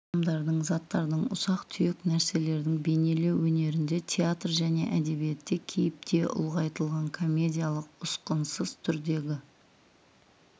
адамдардың заттардың ұсақ-түйек нәрселердің бейнелеу өнерінде театр және әдебиетте кейіпте ұлғайтылған комедиялық ұсқынсыз түрдегі